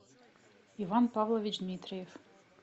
иван павлович дмитриев